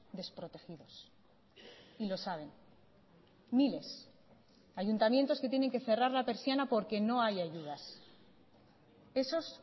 desprotegidos y lo saben miles ayuntamientos que tienen que cerrar la persiana porque no hay ayudas esos